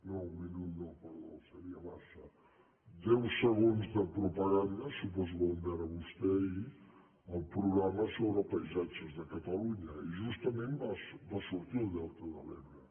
no un minut no perdó seria massa deu segons de propaganda suposo que van veure vostès ahir el programa sobre paisatges de catalunya i jus·tament hi va sortir el delta de l’ebre